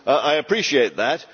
I appreciate that.